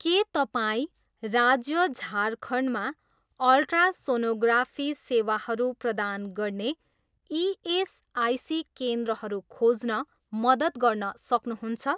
के तपाईँँ राज्य झारखण्डमा अल्ट्रासोनोग्राफी सेवाहरू प्रदान गर्ने इएसआइसी केन्द्रहरू खोज्न मद्दत गर्न सक्नुहुन्छ?